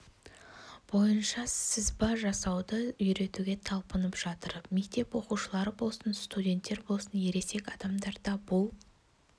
бойынша сызба жасауды үйретуге талпынып жатыр мектеп оқушылары болсын студенттер болсын ересек адамдар да бұл